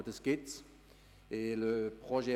Aber die negativen Auswirkungen haben wir auch.